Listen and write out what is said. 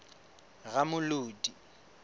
ramolodi